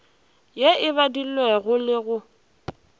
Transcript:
ye e badilwego le go